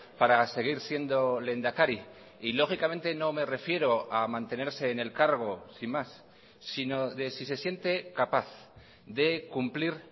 para seguir siendo lehendakari y lógicamente no me refiero a mantenerse en el cargo sin más sino de si se siente capaz de cumplir